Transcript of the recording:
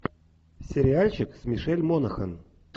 сериальчик с мишель монахэн